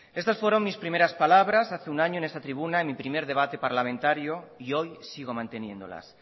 estas fueron mis primeras palabras hace un año en esta tribuna en mi primer debate parlamentario y hoy sigo manteniéndolas